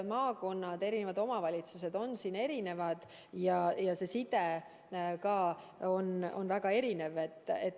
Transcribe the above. Maakonnad ja omavalitsused on aga erinevad ja side rahvaga ka on väga erinev.